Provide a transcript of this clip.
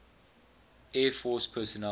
air force personnel